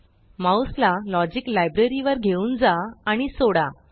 mouse ला logic library logic library वर घेऊन जा आणि सोडा